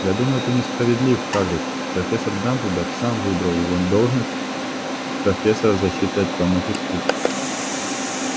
я думаю ты несправедлив хагрид профессор дамблдор сам выбрал его на должность профессора защиты от тёмных искусств